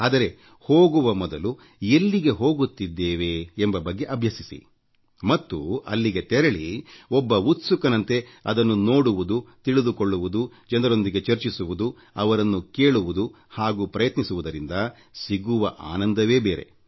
ಆದರೆ ಹೋಗುವ ಮೊದಲು ಎಲ್ಲಿಗೆ ಹೋಗುತ್ತಿದ್ದೇವೆ ಎಂಬ ಬಗ್ಗೆ ಅಭ್ಯಸಿಸಿ ಮತ್ತು ಅಲ್ಲಿಗೆ ತೆರಳಿ ಒಬ್ಬ ಉತ್ಸುಕನಂತೆ ಅದನ್ನು ನೋಡುವುದು ತಿಳಿದುಕೊಳ್ಳುವುದು ಜನರೊಂದಿಗೆ ಚರ್ಚಿಸುವುದು ಅವರನ್ನು ಕೇಳುವುದು ಹಾಗೂ ಪ್ರಯತ್ನಿಸುವುದರಿಂದ ಸಿಗುವ ಆನಂದವೇ ಬೇರೆ